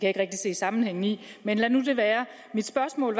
ikke rigtig se sammenhængen i men lad nu det være mit spørgsmål